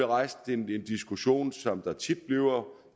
rejst en diskussion som der tit bliver